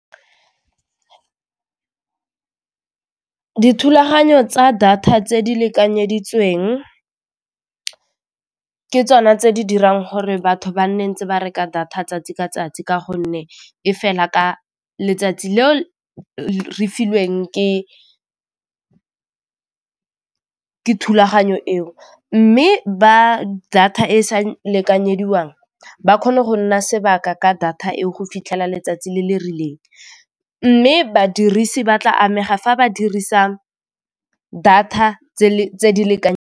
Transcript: Dithulaganyo tsa data tse di lekanyeditsweng ke tsona tse di dirang gore batho ba nne ntse ba reka data tsatsi ka tsatsi ka gonne e fela ka letsatsi le re filweng ke thulaganyo eo mme ba data e sa lekanyediwang ba kgone go nna sebaka ka data e go fitlhela letsatsi le le rileng, mme badirisi ba tla amega fa ba dirisa data tse di .